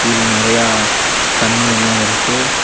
இன்னு நெறையா தண்ணி எல்லா இருக்கு.